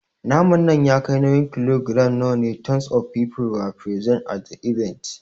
Naman nan ya kai nauyin kilogiram nawa? Tons of people were present at the event.